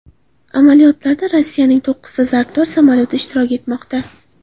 Amaliyotlarda Rossiyaning to‘qqizta zarbdor samolyoti ishtirok etmoqda.